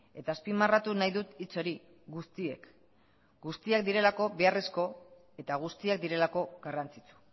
eta azpimarratu nahi dut hitz hori guztiek guztiak direlako beharrezko eta guztiak direlako garrantzitsu